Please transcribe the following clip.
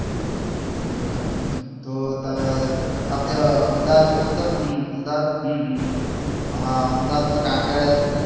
એવું એમ અએ આપળે અમદાવાદ જયીયે અમદાવાદ અમદાવાદ હા અમદાવાદ માં કાંકરિયા જોયું છે